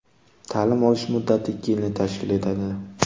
Ta’lim olish muddati ikki yilni tashkil etadi.